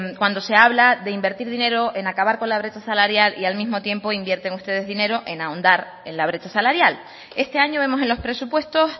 cuando se habla de invertir dinero en acabar con la brecha salarial y al mismo tiempo invierten ustedes dinero en ahondar en la brecha salarial este año vemos en los presupuestos